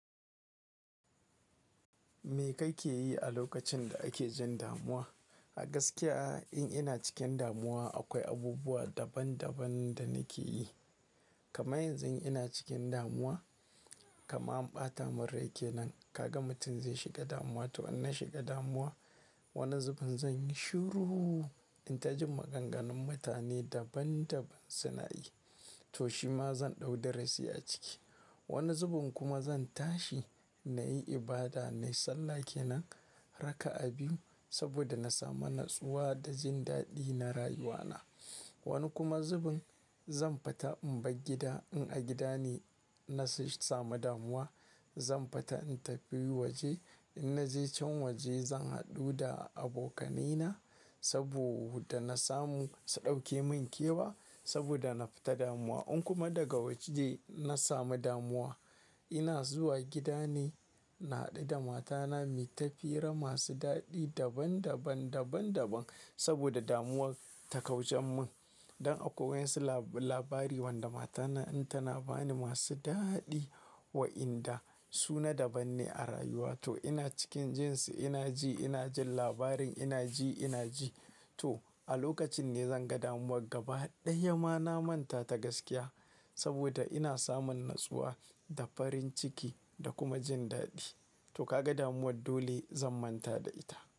Me kake yi a lokacin da ake jin damuwa? A gaskiya, in ina cikin damuwa, akwai abubuwa daban-daban da nake yi. Kama yanzu ina cikin damuwa, kama in ɓata min rake nan, kaga mutum zai shiga damuwa. To in na shiga damuwa, wani zubin zan yi shiru. Inta jin maganganun mutane daban-daban suna yi, to shima zan ɗau da rasi a ciki. Wani zubin kuma zan tashi na yi ibada, na yi sallah ke nan, raka'a biyu saboda na samu natsuwa da jin daɗi na rayuwa na. Wani kuma zubin zan fata in bar gida in a gida ne na samu damuwa, zan fata in tafi waje. In na je can waje zan haɗu da abokanai na saboda na samu su ɗauke min kewa saboda na fita damuwa. In kuma daga waje na samu damuwa, ina zuwa gida ne na haɗu da matana, me ta fira masu daɗi daban-daban, daban-daban saboda damuwar ta kauce mun. Don akwai wasu labari wanda matana in tana bani masu daɗi wa'inda su na daban ne a rayuwa. To ina cikin jin su ina ji ina jin labarin ina ji ina ji. To a lokacin ne zan ga damuwar gaba ɗaya ma na manta ta gaskiya saboda ina samun natsuwa da farin ciki da kuma jin daɗi. To ka ga damuwar dole zan manta da ita.